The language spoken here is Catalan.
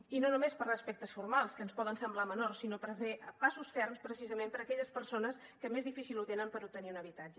i no només per aspectes formals que ens poden semblar menors sinó per fer passos ferms precisament per aquelles persones que més difícil ho tenen per obtenir un habitatge